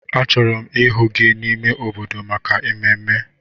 Achọrọ m ịhụ gị n'ime obodo maka ememme!